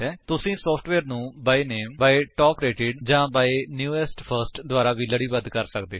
ਤੁਸੀ ਸੋਫਟਵੇਅਰ ਨੂੰ by name by top rated ਜਾਂ ਬਾਈ ਨੇਵੈਸਟ ਫਰਸਟ ਦੁਆਰਾ ਵੀ ਲੜੀਬੱਧ ਕਰ ਸਕਦੇ ਹੋ